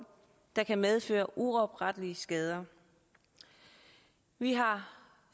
der kan medføre uoprettelige skader vi har